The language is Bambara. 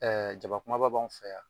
Ɛɛ jaba kumaba b'anw fɛ yan.